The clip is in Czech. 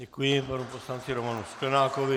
Děkuji panu poslanci Romanu Sklenákovi.